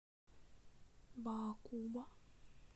баакуба